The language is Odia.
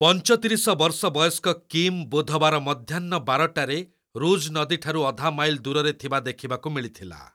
ପଞ୍ଚତିରିଶ ବର୍ଷବୟସ୍କ କିମ୍ ବୁଧବାର ମଧ୍ୟାହ୍ନ ବାରଟାରେ ରୂଜ୍ ନଦୀଠାରୁ ଅଧା ମାଇଲ୍ ଦୂରରେ ଥିବା ଦେଖିବାକୁ ମିଳିଥିଲା।